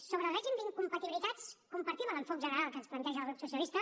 sobre el règim d’incompatibilitats compartim l’enfocament general que ens planteja el grup socialista